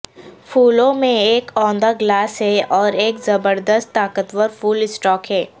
پھولوں میں ایک اوندا گلاس ہے اور ایک زبردست طاقتور پھول اسٹاک ہے